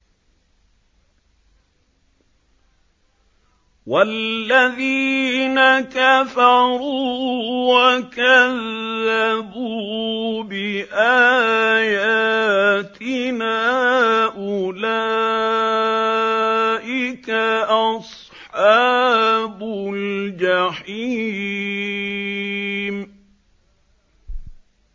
وَالَّذِينَ كَفَرُوا وَكَذَّبُوا بِآيَاتِنَا أُولَٰئِكَ أَصْحَابُ الْجَحِيمِ